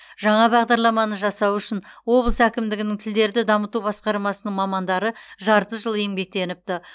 жаңа бағадарламаны жасау үшін облыс әкімдігінің тілдерді дамыту басқармасының мамандары жарты жыл еңбектеніпті